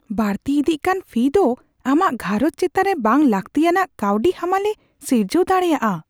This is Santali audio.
ᱵᱟᱹᱲᱛᱤ ᱤᱫᱤᱜ ᱠᱟᱱ ᱯᱷᱤ ᱫᱚ ᱟᱢᱟᱜ ᱜᱷᱟᱨᱚᱸᱡᱽ ᱪᱮᱛᱟᱱ ᱵᱟᱝᱼᱞᱟᱹᱛᱤᱭᱟᱱᱟᱜ ᱠᱟᱹᱣᱰᱤ ᱦᱟᱢᱟᱞ ᱮ ᱥᱤᱨᱡᱟᱹᱣ ᱫᱟᱲᱮᱭᱟᱜᱼᱟ ᱾